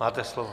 Máte slovo.